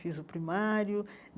Fiz o primário.